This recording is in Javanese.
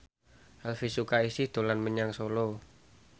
Elvy Sukaesih dolan menyang Solo